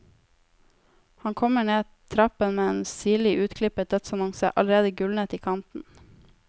Han kommer ned trappen med en sirlig utklippet dødsannonse, allerede gulnet i kanten.